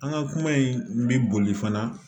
An ka kuma in bi boli fana